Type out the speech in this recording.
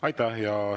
Aitäh!